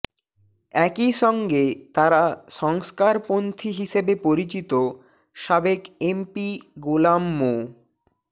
একই সঙ্গে তারা সংস্কারপন্হী হিসেবে পরিচিত সাবেক এমপি গোলাম মো